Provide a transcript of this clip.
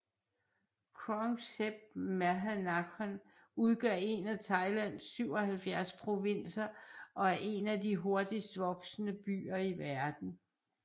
Krung Thep Maha Nakhon udgør en af Thailands 77 provinser og er en af de hurtigst voksende byer i verden